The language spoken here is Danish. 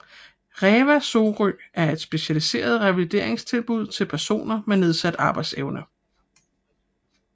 Reva Sorø er et specialiseret revalideringstilbud til personer med nedsat arbejdsevne